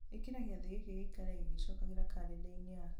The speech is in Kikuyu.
ĩkĩra gĩathĩ gĩkĩ gĩikare gĩgĩcokagĩra karenda-inĩ yakwa